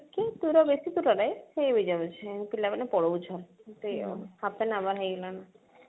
ଟିକିଏ ଦୂର ବେଶୀ ଦୂର ନାଇଁ ପିଲାମାନେ ପଳଉଛନ୍ତି ଆଉ half an hour ହେଇଗଲା ନା